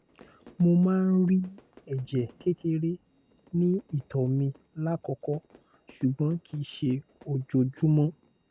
mo máa ń rí ẹ̀jẹ̀ kékeré ní ìtoẹ mi lákòókò ṣùgbọ́n kìí ṣe ojoojúmọ́